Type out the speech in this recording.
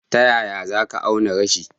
Ta yaya za ka auna yashi?